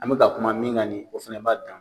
An bɛ ka kuma min kan nin ye, o fana b'a dan ma.